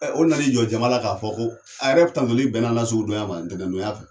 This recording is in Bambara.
o na n'i jɔ jamana k'a fɔ ko a yɛrɛ tantoli bɛn na an ka sugu donya ma ntɛnɛn donya fɛ.